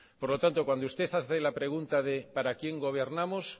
por lo tanto cuanto usted hace la pregunta de para quién gobernamos